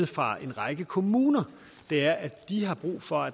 fra en række kommuner er at de har brug for